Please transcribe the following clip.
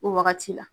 O wagati la